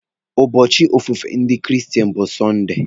Ụbọchị ofufe ndị kristen bụ Sọnde.